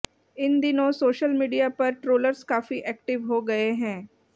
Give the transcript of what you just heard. इन दिनों social media पर trollers काफी एक्टिव हो गए हैं